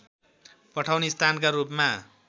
पठाउने स्थानका रूपमा